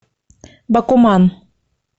бакуман